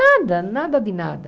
Nada, nada de nada.